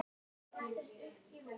Að minnsta kosti til Jakobs og Elsu.